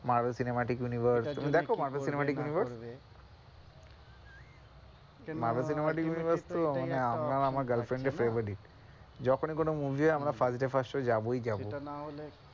Marvel Cinematic Universe তুমি দেখো Marvel Cinematic Universe Marvel Cinematic Universe তো আমার আর আমার গার্লফ্রেন্ড এর favourite যখনই কোনো movie হয় আমরা first day first show যাবোই যাবো।